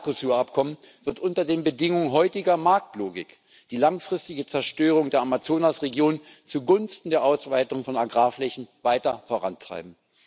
Das Mercosur Abkommen wird unter den Bedingungen heutiger Marktlogik die langfristige Zerstörung der Amazonasregion zugunsten der Ausweitung von Agrarflächen weiter vorantreiben.